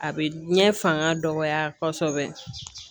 A bɛ diɲɛ fanga dɔgɔya kosɛbɛ